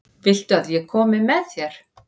Viltu að ég komi með þér?